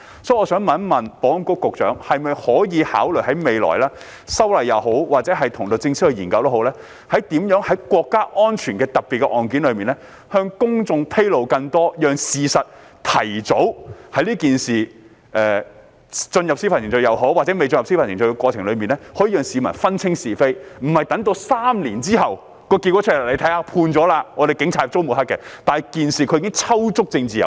所以，我想問保安局局長可否考慮在未來修改法例也好，或與律政司研究也好，如何在涉及國家安全的特別案件中向公眾披露更多資料，讓市民在案件進入司法程序也好，或未進入司法程序也好，可以提早分清是非，而不是等待3年之後得出判決，才說警察遭人抹黑，但他們在事件中已經抽足"政治油水"。